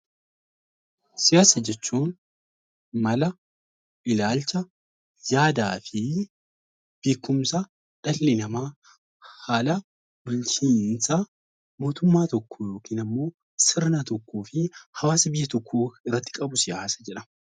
Siyaasa jechuun mala, ilaalcha, yaadaa fi beekumsa dhalli namaa haala bulchiinsa mootummaa tokkoo yookiin ammoo sirna tokkoo fi hawaasa biyya tokkoo irratti qabu siyaasa jedhama.